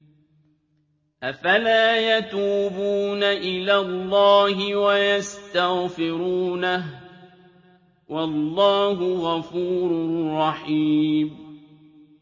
أَفَلَا يَتُوبُونَ إِلَى اللَّهِ وَيَسْتَغْفِرُونَهُ ۚ وَاللَّهُ غَفُورٌ رَّحِيمٌ